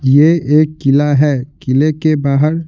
यह एक किला है किले के बाहर--